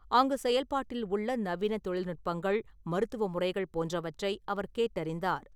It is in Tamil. அங்கு செயல்பாட்டில் உள்ள நவீன தொழில்நுட்பங்கள் , மருத்துவ முறைகள் போன்றவற்றை அவர் கேட்டறிந்தார் .